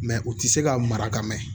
Mɛ u tɛ se ka mara ka mɛn